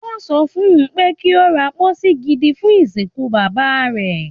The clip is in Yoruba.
Wọ́n sọ fun pé kí ó ra pósí gidi fún ìsìnkú bàbá rẹ̀.